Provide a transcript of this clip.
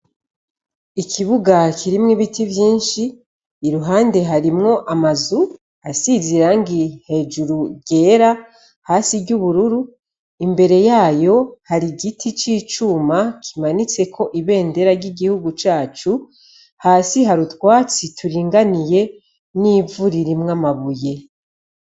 Ikibuga kirimwo ibiti vyinshi iruhande harimwo amazu asizirangi hejuru ryera hasi ry'ubururu imbere yayo hari igiti c'icuma kimanitseko ibendera ry'igihugu cacu hasi ha rutwatsi turinganiye n'iwo urir imwo amabuye.